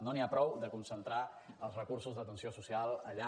no n’hi ha prou de concentrar els recursos d’atenció social allà